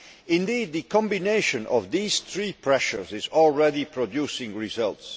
Indeed, the combination of these three pressures is already producing results.